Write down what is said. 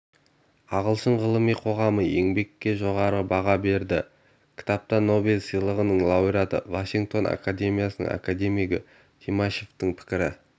ағылшын ғылыми қоғамы еңбекке жоғары баға берді кітапта нобель сыйлығының лауреаты вашингтон академиясының академигі тимашевтың пікірі